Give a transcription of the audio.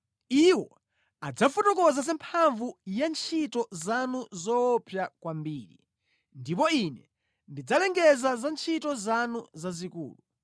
Iwo adzafotokoza za mphamvu ya ntchito zanu zoopsa kwambiri, ndipo ine ndidzalengeza za ntchito zanu zazikulu.